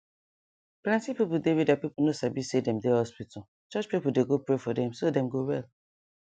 plenty pipu dey wey deir people no sabi say dem dey hospital church pipu dey go pray for dem so dem go well